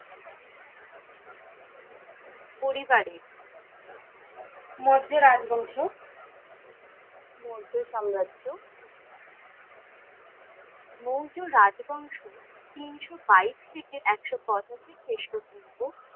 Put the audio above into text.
পরিবারে মৌর্য রাজ্ বংশ মৌর্য সাম্রাজ্য মৌর্য রাজ্ বংশ তিনশো বাইশ থেকে একশো পঁচাশি খ্রিস্টপূর্ব